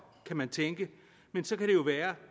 kan man tænke men så kan det jo være